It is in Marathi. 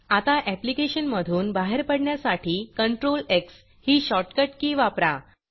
आता ऍप्लिकेशन मधून बाहेर पडण्यासाठी Ctrl एक्स ही शॉर्टकट की वापरा